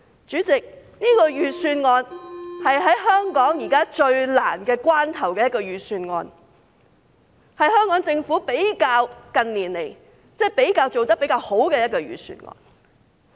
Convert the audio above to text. "主席，這份預算案是香港現時在最困難的關頭的預算案，是香港政府近年做得比較好的預算案。